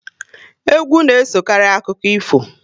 Egwu na esokari akụkọ ifo